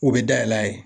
U bɛ dayɛlɛ a ye